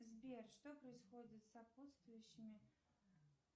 сбер что происходит с сопутствующими